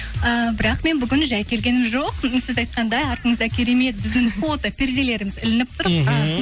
ііі бірақ мен бүгін жай келген жоқпын сіз айтқандай артымызда керемет біздің фото перделеріміз ілініп тұр мхм